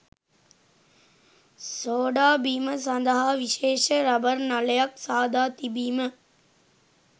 soda බීම සඳහා විශේෂ රබර් නළයක් සාදා තිබීම